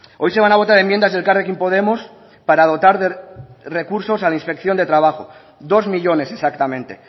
hoy se van a votar enmiendas de elkarrekin podemos para dotar de recursos a la inspección de trabajo dos millónes exactamente